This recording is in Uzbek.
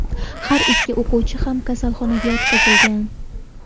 Har ikki o‘quvchi ham kasalxonaga yotqizilgan.